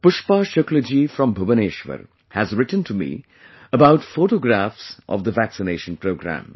Pushpa Shukla ji from Bhubaneshwar has written to me about photographs of the vaccination programme